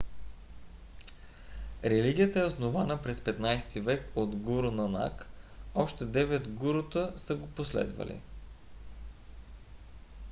религията е основана през 15-ти век от гуру нанак 1469 – 1539 г.. още девет гурута са го последвали